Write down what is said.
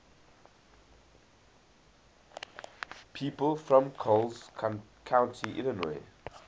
people from coles county illinois